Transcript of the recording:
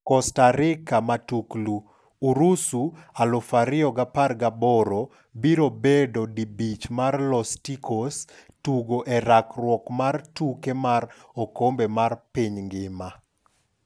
Costa Rica Matuklu: Urusi 2018 biro bedo di bich mar Los Ticos tugo e rakruok mar tuke mar okombe mar piny ngima.